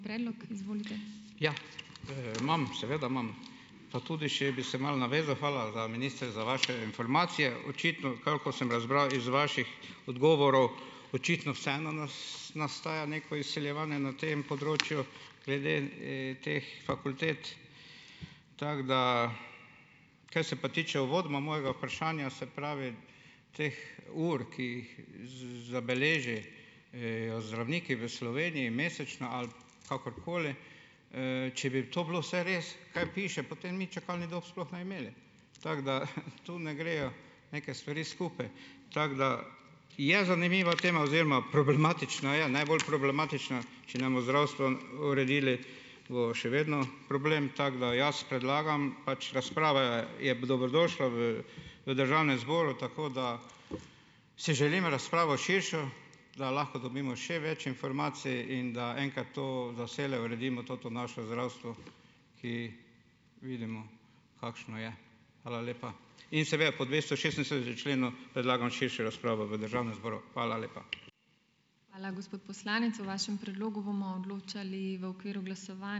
Ja, imam, seveda imam. Pa tudi še bi se malo navezal, hvala za, minister, za vaše informacije. Očitno, koliko sem razbral iz vaših odgovorov, očitno vseeno nastaja neko izsiljevanje na tem področju glede teh fakultet. Tako da, kar se pa tiče uvodoma mojega vprašanja, se pravi teh ur, ki jih zdravniki v Sloveniji mesečno ali kakorkoli, če bi to bilo vse res, kaj piše, potem mi čakalnih dob mi sploh ne bi imeli. Tako da to ne grejo neke stvari skupaj. Tako da je zanimiva tema oziroma problematična je, najbolj problematična, če ne bomo zdravstva uredili, bo še vedno problem, tako da jaz predlagam, pač razprava je dobrodošla v, v državnem zboru, tako da si želim razpravo širšo, da lahko dobimo še več informacij in da enkrat to za vselej uredimo to naše zdravstvo, ki vidimo, kakšno je. Hvala lepa. In seveda po členu predlagam širšo razpravo v državnem zboru. Hvala lepa.